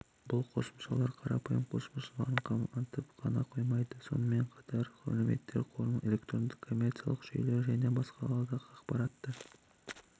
бұл қосымшалар қарапайым қосымшаларын қамтып қана қоймайды сонымен қатар мәліметтер қорын электронды коммерциялық жүйелер және басқада ақпаратты